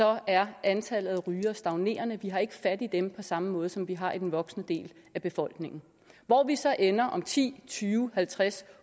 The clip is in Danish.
er antallet af rygere stagnerende vi har ikke fat i dem på samme måde som vi har i den voksne del af befolkningen hvor vi så ender om ti tyve halvtreds